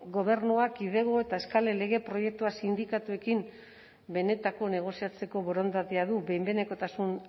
gobernuak kidego eta eskalen lege proiektua sindikatuekin benetako negoziatzeko borondatea du behin behinekotasun